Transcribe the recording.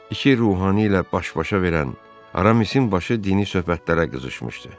İki ruhani ilə baş-başa verən Aramisin başı dini söhbətlərə qızışmışdı.